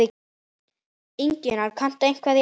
Ingimar: Kanntu eitthvað í ensku?